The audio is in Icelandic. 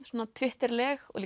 svona Twitter leg og